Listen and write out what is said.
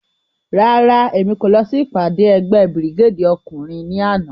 Rárá, Emi ko lọ si ipade ẹgbẹ Birigedi ọkunrin ni ana.